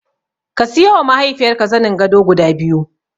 Ka siyowa mahaifiyarka zanin gado guda biyu.